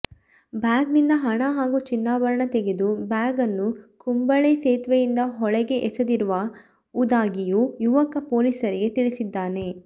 ಬ್ಯಾಗ್ನಿಂದ ಹಣ ಹಾಗೂ ಚಿನ್ನಾಭರಣ ತೆಗೆದು ಬ್ಯಾಗ್ನ್ನು ಕುಂಬಳೆ ಸೇತುವೆಯಿಂದ ಹೊಳೆಗೆ ಎಸೆದಿರು ವುದಾಗಿಯೂ ಯುವಕ ಪೊಲೀಸರಿಗೆ ತಿಳಿಸಿದ್ದಾನೆ